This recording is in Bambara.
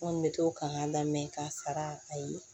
N kɔni bɛ to kan ka lamɛn k'a sara a ye